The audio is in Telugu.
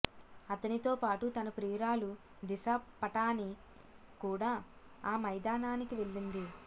అతనితో పాటు తన ప్రియురాలు దిశా పటానీ కూడా ఆ మైదానానికి వెళ్ళింది